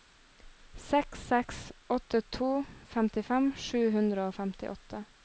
seks seks åtte to femtifem sju hundre og femtiåtte